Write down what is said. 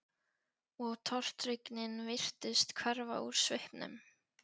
Og tortryggnin virtist hverfa úr svipnum.